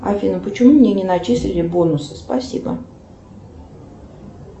афина почему мне не начислили бонусы спасибо